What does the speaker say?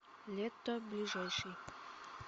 летто ближайший